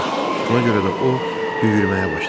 Buna görə də o yüyürməyə başladı.